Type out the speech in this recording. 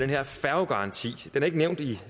her færgegaranti den er ikke nævnt i